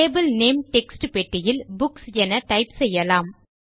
table name text பெட்டியில் books என type செய்யலாம்